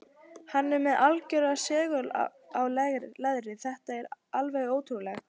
Hann er með algjöran segul á leðrið, þetta er alveg ótrúlegt.